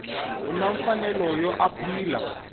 u ni mfanelo yo apila